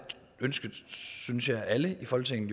ønske synes jeg at alle i folketinget